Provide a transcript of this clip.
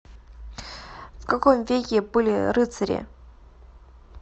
в каком веке были рыцари